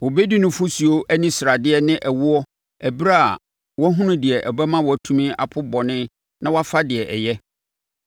Ɔbɛdi nufosuo ani sradeɛ ne ɛwoɔ ɛberɛ a wahunu deɛ ɛbɛma watumi apo bɔne na wafa deɛ ɛyɛ.